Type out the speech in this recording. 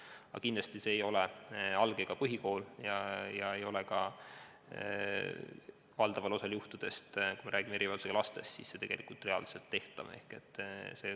Aga kindlasti ei ole see tehtav alg- ja põhikoolis ega ka valdava osa erivajadusega laste puhul, see ei ole tegelikult reaalselt tehtav.